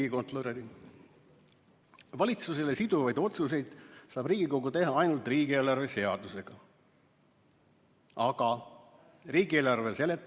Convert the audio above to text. Tema sõnul saab Riigikogu valitsusele siduvaid otsuseid teha ainult riigieelarve seadusega.